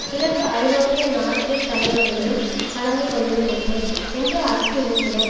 கிழக்கு ஐரோப்பிய நாட்டு தலைவர்களும் கலந்து கொள்ளுவதில்லை என்று அச்சுறுத்தினர்